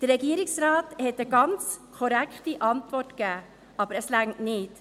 Der Regierungsrat hat eine ganz korrekte Antwort gegeben, aber es reicht nicht.